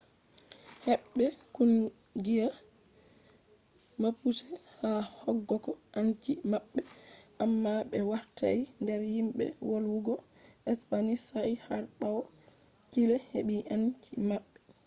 hebbe kungiya mapuche ha hokkogo anci mabbe amma be wartai der himbe volwugo spanish sai har bawo chile`s hebi enci mabbe